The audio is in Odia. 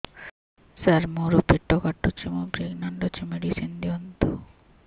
ସାର ମୋର ପେଟ କାଟୁଚି ମୁ ପ୍ରେଗନାଂଟ ଅଛି ମେଡିସିନ ଦିଅନ୍ତୁ